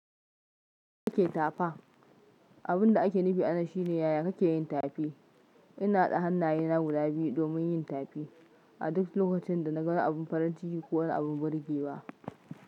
Ya ake tafa. Abun da ake nufi a nan shine yaya kake yin tafi. Ina haɗa hannayena guda biyu domin yin tafi a duk lokacin da na ga wani abun farin ciki ko abun burge wa.